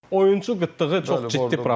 Oyunçu qıtlığı çox ciddi problemdir.